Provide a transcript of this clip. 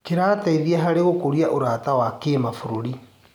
Kĩrateithia harĩ gũkũria ũrata wa kĩmabũrũri.